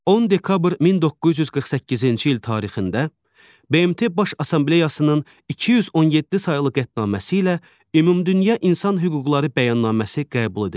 10 dekabr 1948-ci il tarixində BMT Baş Assambleyasının 217 saylı qətnaməsi ilə ümumdünya insan hüquqları bəyannaməsi qəbul edildi.